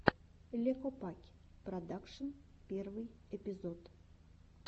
ле копакь продакшен первый эпизод